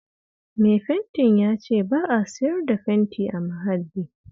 Mai fentin ya ce ba a siyar da fenti a Mahalli